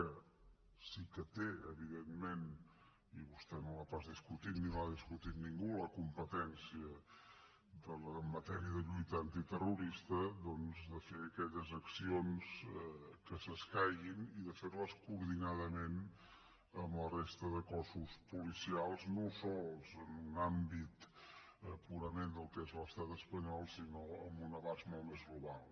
que sí que té evidentment i vostè no l’ha pas discutit ni l’ha discutit ningú la competència en matèria de lluita antiterrorista de fer aquelles accions que s’escaiguin i de fer les coordinadament amb la resta de cossos policials no sols en un àmbit purament del que és l’estat espanyol sinó amb un abast molt més global